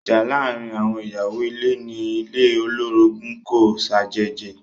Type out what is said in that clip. Ìjà láàárín àwọn ìyàwó ilé ní ilé olorogun kò ṣàjèjì.